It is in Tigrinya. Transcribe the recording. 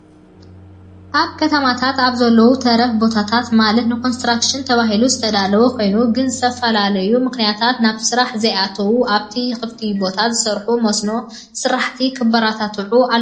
ኣብ ከተማታት ኣብ ዘለው ተረፍ ቦታታት ማለት ንኮንስትራክሽን ተባሂሎም ዝተዳለው ኾይኑ ግና ብዝተፈላለዩ ምክንያታት ናብ ስራሕ ዘይኣተው ኣብቲ ክፍቲ ቦታታት ዝሰርሑ መስኖ ስራሕቲ ክበራትዑ ኣለዎም።